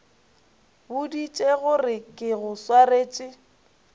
boditše gore ke go swaretše